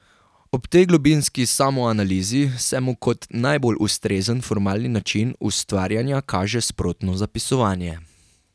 Ob tej globinski samoanalizi se mu kot najbolj ustrezen formalni način ustvarjanja kaže sprotno zapisovanje.